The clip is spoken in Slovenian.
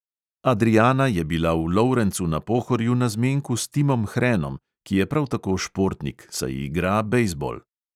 Adriana je bila v lovrencu na pohorju na zmenku s timom hrenom, ki je prav tako športnik, saj igra bejzbol.